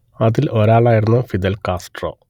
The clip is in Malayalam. അതിൽ ഒരാളായിരുന്നു ഫിദൽ കാസ്ട്രോ